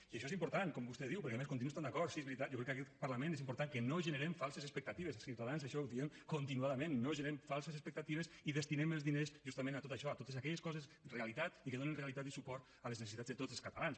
i això és important com vostè diu perquè a més hi continuo estant d’acord sí és veritat jo crec que a aquest parlament és important que no generem falses expectatives ciutadans això ho diem continuadament no generem falses expectatives i destinem els diners justament a tot això a totes aquelles coses realitats i que donen realitat i suport a les necessitats de tots els catalans